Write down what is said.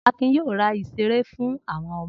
Akin yóò ra ìṣeré fún àwọn ọmọ.